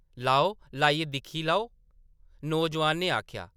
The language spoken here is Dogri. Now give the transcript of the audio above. लैओ, लाइयै दिक्खो, नौजोआन ने आखेआ ।